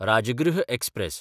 Rajgriha express